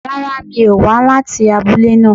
Rárá mi ò wá láti abúlé náà